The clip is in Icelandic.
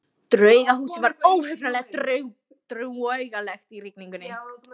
Draugahúsið var óhugnanlega draugalegt í rigningunni.